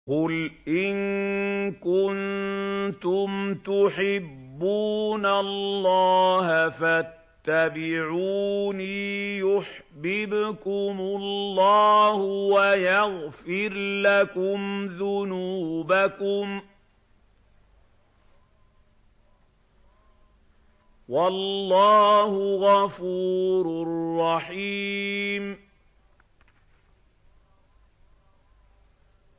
قُلْ إِن كُنتُمْ تُحِبُّونَ اللَّهَ فَاتَّبِعُونِي يُحْبِبْكُمُ اللَّهُ وَيَغْفِرْ لَكُمْ ذُنُوبَكُمْ ۗ وَاللَّهُ غَفُورٌ رَّحِيمٌ